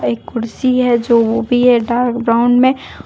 एक कुर्सी है जो वो भी है डार्क ब्राउन में।